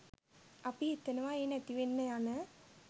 අපි හිතනවා ඒ නැතිවෙන්න යන